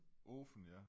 Åfen ja